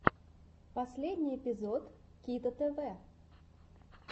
последний эпизод кито тв